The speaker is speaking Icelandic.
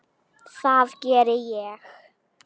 Það gerði ég.